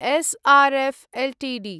S R F Ltd